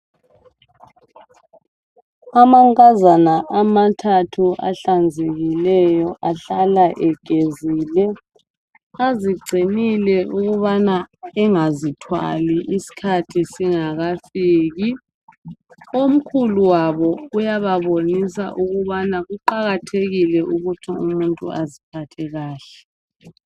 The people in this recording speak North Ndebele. Amankazana amathathu ahlanzekileyo. Ahlala egezile. Azigcinile ukuthi angazithwali, isikhathi singakafiki. Omkhulu wabo uyababonisa ukuthi kuqakathekile ukuthi umuntu aziphathe kahle.